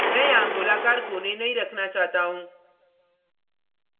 मैं यहाँ गोलाकार कोने नहीं रखना चाहता हूँ